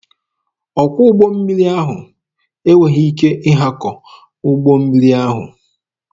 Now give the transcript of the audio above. Ọkwọ ụgbọ mmiri ahụ enweghị ike ịhakọ ụgbọ mmiri ahụ.